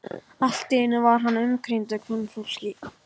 Allt í einu var hann umkringdur kvenfólki.